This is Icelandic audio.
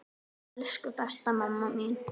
Ó elsku besta mamma mín.